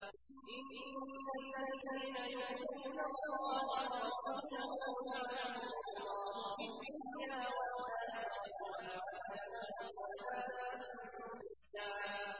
إِنَّ الَّذِينَ يُؤْذُونَ اللَّهَ وَرَسُولَهُ لَعَنَهُمُ اللَّهُ فِي الدُّنْيَا وَالْآخِرَةِ وَأَعَدَّ لَهُمْ عَذَابًا مُّهِينًا